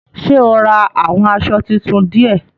Ṣé o rà àwọn aṣọ títún diẹ?